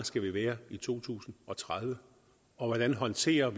skal være i to tusind og tredive og hvordan vi håndterer